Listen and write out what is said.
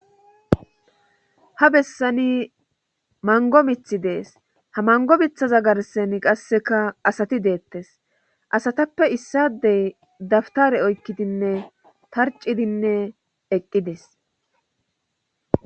Ha bessani mango mithi dees ha mango bithaza garsen qasseka asati deettes asatappe issadey dabtare oykkidinne tarcidinne eqqides.